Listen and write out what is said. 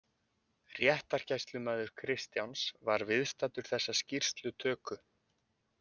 Réttargæslumaður Kristjáns var viðstaddur þessa skýrslutöku.